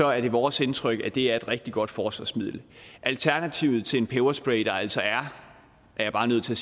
er vores indtryk at det er et rigtig godt forsvarsmiddel alternativet til en peberspray der altså er er jeg bare nødt til